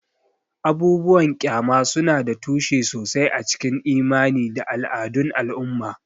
Abubuwan ƙyama suna da tushe sosai a cikin imani da al'adun al'umma.